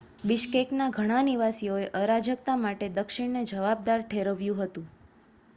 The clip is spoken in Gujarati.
બિશ્કેકનાં ઘણા નિવાસીઓએ અરાજકતા માટે દક્ષિણને જવાબદાર ઠેરવ્યું હતું